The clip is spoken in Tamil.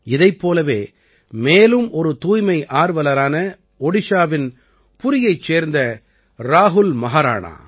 இதைப் போலவே மேலும் ஒரு தூய்மை ஆர்வலரான ஒடிஷாவின் புரியைச் சேர்ந்த ராஹுல் மஹாராணா